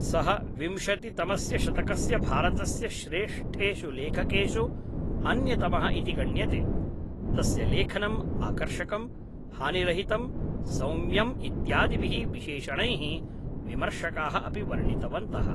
सः विंशतितमस्य शतकस्य भारतस्य श्रेष्ठेषु लेखकेषु अन्यतमः इति गण्यते, तस्य लेखनम् आकर्षकम्, हानिरहितं, सौम्यम् इत्यादिभिः विशेषणैः विमर्शकाः अपि वर्णितवन्तः।